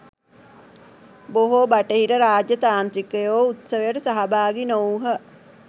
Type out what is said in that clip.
බොහෝ බටහිර රාජ්‍යතාන්ත්‍රිකයෝ උත්සවයට සහභාගි නොවූහ.